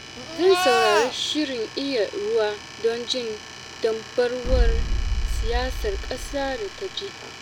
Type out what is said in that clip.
Zan saurari shirin Iya Ruwa don jin dambarwar siyasar ƙasa da ta jiha.